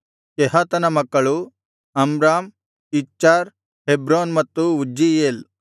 ಕೆಹಾತನ ಮಕ್ಕಳು Amram Izhar Hebron ಮತ್ತು Uzziel